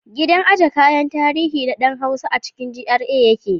Gidan aje kayan tarihi na ɗan Hausa a cikin GRA yake.